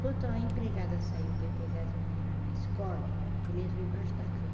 Quando a empregada saiu para ir pegar as meninas na escola, ele entrou embaixo da cama.